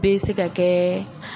Bɛ se ka kɛ